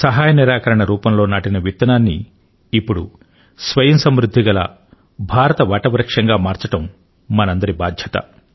సహాయ నిరాకరణ రూపం లో నాటిన విత్తనాన్ని ఇప్పుడు స్వయంసమృద్ధి గల భారతదేశ వట వృక్షం గా మార్చడం మనందరి బాధ్యత